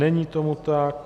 Není tomu tak.